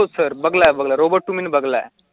हो sir बघला आहे बघला robot two मी ना बघलायं